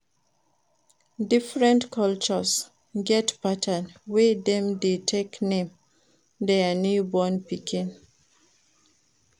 Different cultures get pattern wey dem de take name their newborn pikin